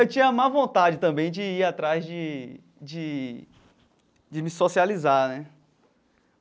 Eu tinha má vontade também de ir atrás de de de me socializar, né?